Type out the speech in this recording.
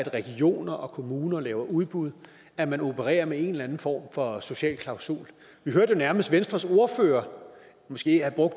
regioner og kommuner laver udbud at man opererer med en eller anden form for social klausul vi hørte jo nærmest venstres ordfører